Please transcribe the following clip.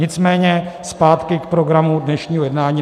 Nicméně zpátky k programu dnešního jednání.